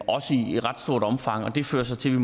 også i ret stort omfang og det førte så til